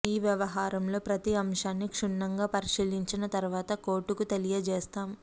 ఈ వ్యవహారంలో ప్రతి అంశాన్ని క్షుణ్ణంగా పరిశీంచిన తర్వాత కోర్టుకు తెలియజేస్తాం